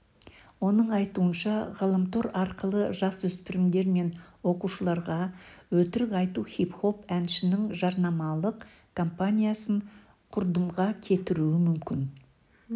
оның айтуынша ғаламтор арқылы жасөспірімдер мен оқушыларға өтірік айту хип-хоп әншінің жарнамалық компаниясын құрдымға кетіруі мүмкін